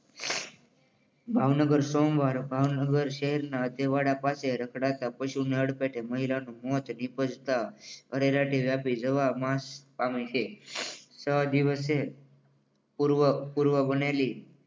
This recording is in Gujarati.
ભાવનગર સોમવાર ભાવનગર શહેરના ધવાડા પાસે રખડાતા પશુને અડફેટે મહિલાનું મોત નીપજતા આરેલાટી વ્યાપી જવા માસ પામી છે. સો દિવસે પૂર્વ પૂર્વ બનેલી